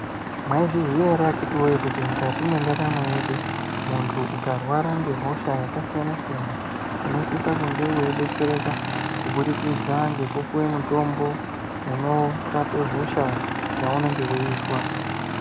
Maizviziya ere akati wee kuti mukati mwendaramo yedu , muntu ukarwara ngehosha yakasiyana siyana unosisa kunge weidetsereka kubudikidza ngekupuwa mitombo unorape hosha yaunenge weizwa .